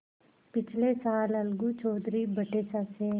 पिछले साल अलगू चौधरी बटेसर से